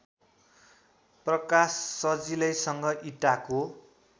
प्रकाश सजिलैसँग इँटाको